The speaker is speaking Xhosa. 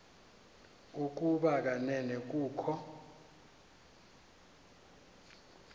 ukuba kanene kukho